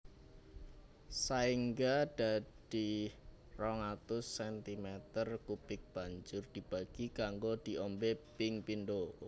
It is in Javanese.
Saéngga dadi 200 centimeter kubik banjur dibagi kanggo diombé ping pindho